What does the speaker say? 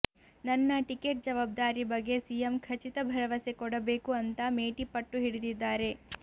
ನನ್ನ ಟಿಕೆಟ್ ಜವಾಬ್ದಾರಿ ಬಗ್ಗೆ ಸಿಎಂ ಖಚಿತ ಭರವಸೆ ಕೊಡಬೇಕು ಅಂತ ಮೇಟಿ ಪಟ್ಟು ಹಿಡಿದಿದ್ದಾರೆ